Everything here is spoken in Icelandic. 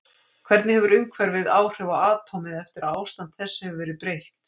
Hvernig hefur umhverfið áhrif á atómið eftir að ástandi þess hefur verið breytt?